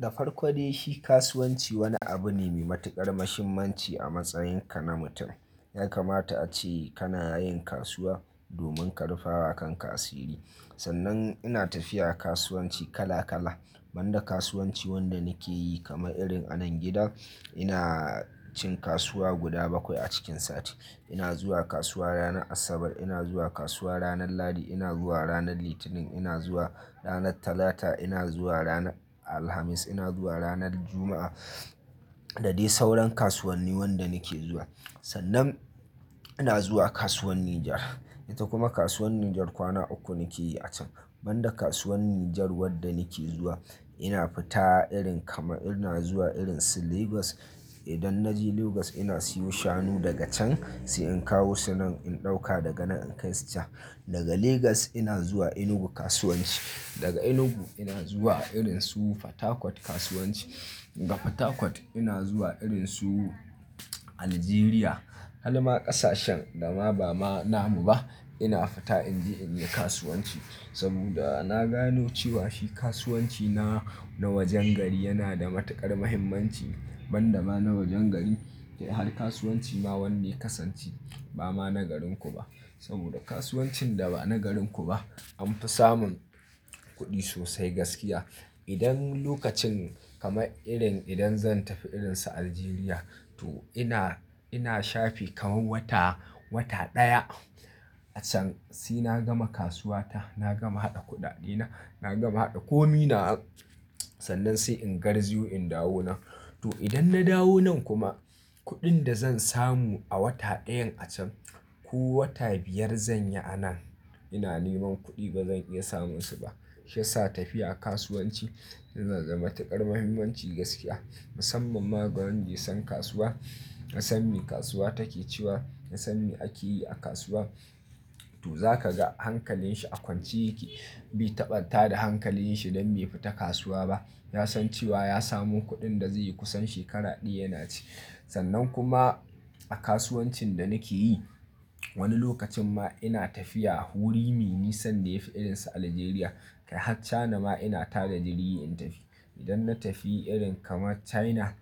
Da farko dai shi kasuwanci wani abu ne mai matuƙar muhimmanci a matsayinka na mutum. Yakamata ace kana yin kasuwa, domin ka rufa wa kanka sirri. Sannan ina tafiya kasuwanci kala kala. Ban da kasuwanci wanda nake yi kamar irin anan gida, ina cin kasuwa guda bakwai a cikin sati. Ina zuwa kasuwa ranar Asabar, ina zuwa kasuwa ranar Lahadi, ina zuwa ranar Litinin, ina zuwa ranar Talata, ina zuwa ranar Alhamis, ina zuwa ranar Juma'a. Da dai sauran kasuwanni wanda nake zuwa. Sannan ina zuwa kasuwar Nijar. Ita kuma kasuwar Nijar kwana uku nake yi a can. Ban da kasuwar Nijar wadda nake zuwa ina fita irin kamar ina zuwa irin su Legas. Idan na je Legas ina siyo shanu daga can, sai in kawo su nan in ɗauka daga nan in kai su can. Daga Legas ina zuwa Enugu kasuwanci. Daga Enugu ina zuwa irin su Fatakwat kasuwanci. Daga Fatakwat ina zuwa irin su Aljeriya. Har ma ƙasashen da ma ba ma namu ba ina fita in je in yi kasuwanci. Saboda na gano cewa shi kasuwanci na, na wajen gari yana da matuƙar muhimmanci. Ban da ma na wajen gari, kai har kasuwanci ma wanda ya kasance ba ma na garinku ba. Saboda kasuwancin da ba na garinku ba an fi samun kuɗi sosai gaskiya. Idan lokacin kamar irin idan zan tafi irin su Aljeriya to ina, ina shafi kamar wata, wata ɗaya a can sai na gama kasuwata, na gama haɗa kuɗaɗena, na gama haɗa kominawa sannan sai in gar ziyo in dawo nan. To idan na dawo nan kuma kuɗin da zan samu a wata ɗayan a can ko wata biyar zanyi anan ina neman kuɗi bazan iya samunsu ba. Shi ya sa tafiya kasuwanci yana da matuƙar muhimmanci gaskiya. Musamman ma ga wanda ya san kasuwa, ya san me kasuwa take ciwa, ya san me ake yi a kasuwa. To zaka ga hankalin shi a kwance yake. Bai taɓa ta da hankalin shi don be fita kasuwa ba. Ya san cewa ya samu kuɗin da zayi kusan shekara ɗaya yana ci. Sannan kuma a kasuwancin da nake yi wani lokacin ma ina tafiya wuri me nisan da yafi irin su Aljeriya. Kai har China ce ma ina tada jirgi in tafi. Idan na tafi irin kamar China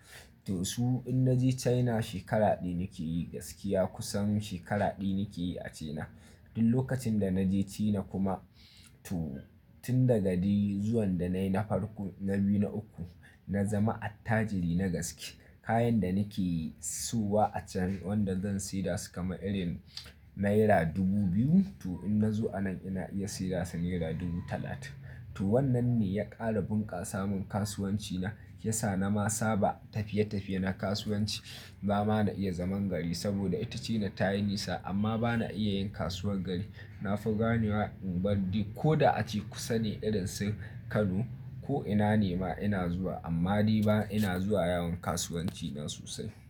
to su in naje China shekara ɗaya nake yi gaskiya. Kusan shekara ɗaya nake yi a China. Duk lokacin da naje China kuma to tun daga dai zuwan da nayi na farko na biyu na uku na zama attajiri na gaske. Kayan da nake siyowa a can wanda zan saida su kamar irin naira dubu biyu to in na zo anan ina iya siyar wasu naira dubu talatin. To wannan ne ya ƙara bunƙasa mun kasuwanci na. Ya sa na ma saba tafiye-tafiye na kasuwanci. Ba ma na iya zaman gari saboda ita China ta yi nisa amma ba na iya yin kasuwar gari. Na fi gane wa in bari ko da ace kusa ne irin su Kano ko ina ne ma ina zuwa amma dai ba ina zuwa yawon kasuwanci na sosai.